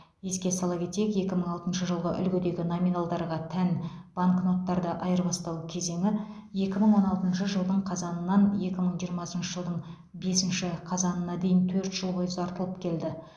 еске сала кетейік екі мың алтыншы жылғы үлгідегі номиналдарға тән банкноттарды айырбастау кезеңі екі мың он алтыншы жылдың қазанынан екі мың жиырмасыншы жылдың бесінші қазанына дейін төрт жыл бойы ұзартылып келді